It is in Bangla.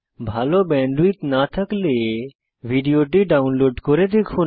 ভাল ব্যান্ডউইডথ না থাকলে ভিডিওটি ডাউনলোড করে দেখুন